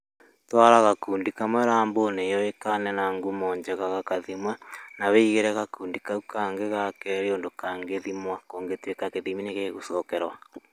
Twara gakundi kamwe rambu-inĩ yũĩkaine na ngumo njega gagathimwo na wĩigĩre gakundi kau kangĩ ga kerĩ ũndũ kangĩthimwo kũngĩtũĩka gĩthimi nĩgĩgũcokerwo.